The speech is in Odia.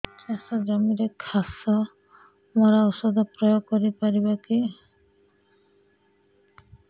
ଚାଷ ଜମିରେ ଘାସ ମରା ଔଷଧ ପ୍ରୟୋଗ କରି ପାରିବା କି